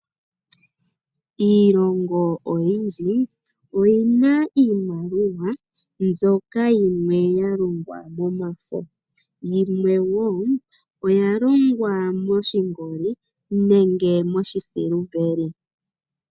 Iilongo oyindji oyina iimaliwa mbyoka yimwe ya longwa momafo. Yimwe wo oya longwa moshingoli nenge moshi siliveli.